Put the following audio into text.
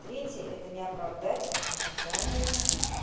третий это не оправдать ожидания